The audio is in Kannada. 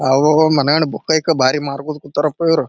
ಆವಾಗ ಮನೆಯೊಳಗ ಬುಕ್ ಗಿಕ್ಕ ಬಾರಿ ಮಾರ್ಗೋನ್ ಕೂತಾರಪ್ಪ ಇವ್ರು.